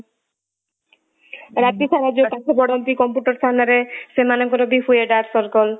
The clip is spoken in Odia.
ଆଉ ରାତି ସାରା ଯଉ ପାଠ ପଢନ୍ତି computer ସାମ୍ନା ରେ ସେମାନଙ୍କ ର ବି ହୁଏ dark circle